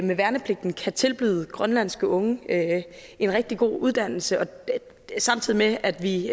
med værnepligten kan tilbyde grønlandske unge en rigtig god uddannelse samtidig med at vi